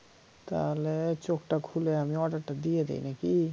তাহলে চোখটা খুলে আমি order টা দিয়ে দেই নাকি?